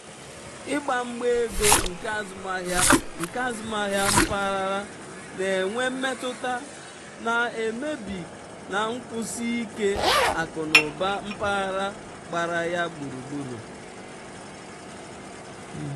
ịgba mgba ego nke azụmahịa nke azụmahịa mpaghara na-enwe mmetụta na-emebi na nkwụsi ike akụnụba mpaghara gbara ya gburugburu.